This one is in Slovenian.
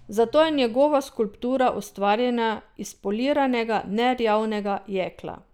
Zato je njegova skulptura ustvarjena iz poliranega, nerjavnega jekla.